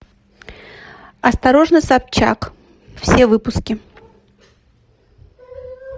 осторожно собчак все выпуски